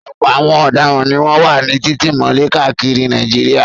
Ọ̀pọ̀ àwọn ọ̀daràn ni wọ́n wà ní títì mọ́lẹ̀ káàkiri Nàìjíríà.